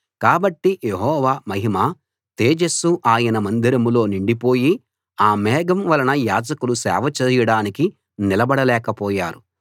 కాబట్టి యెహోవా మహిమ తేజస్సు ఆయన మందిరంలో నిండిపోయి ఆ మేఘం వలన యాజకులు సేవ చేయడానికి నిలబడ లేకపోయారు